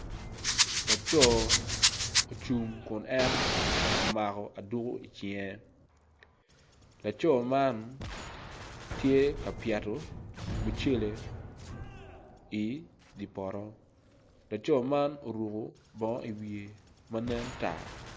Laco ocung kun en omako aduko i cinge laco man laco man tye ka pyeto mucele i dye poto laco man oruko bongo i wiye ma nen tar.